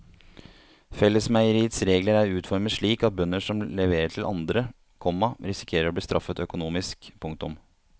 Fellesmeieriets regler er utformet slik at bønder som leverer til andre, komma risikerer å bli straffet økonomisk. punktum